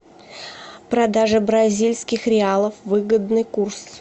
продажа бразильских реалов выгодный курс